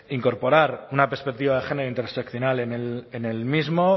incorporar una perspectiva de género interseccional en el mismo